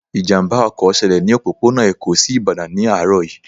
Ìjàmbá ọkọ̀ ṣẹlẹ̀ ní òpópónà Èkó sí Ìbàdàn ní àárọ̀ yìí